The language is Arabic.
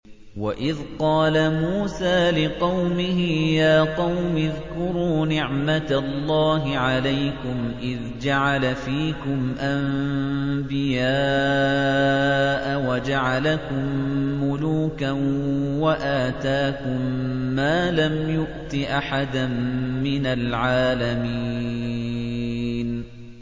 وَإِذْ قَالَ مُوسَىٰ لِقَوْمِهِ يَا قَوْمِ اذْكُرُوا نِعْمَةَ اللَّهِ عَلَيْكُمْ إِذْ جَعَلَ فِيكُمْ أَنبِيَاءَ وَجَعَلَكُم مُّلُوكًا وَآتَاكُم مَّا لَمْ يُؤْتِ أَحَدًا مِّنَ الْعَالَمِينَ